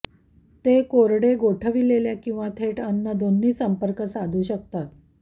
ते कोरडे गोठविलेल्या किंवा थेट अन्न दोन्ही संपर्क साधू शकतात